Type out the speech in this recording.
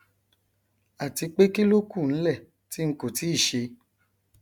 àti pé kíló kù nlẹ tí ng kò tíì ṣe